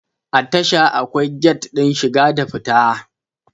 A tasha akwai gat din shiga da na fita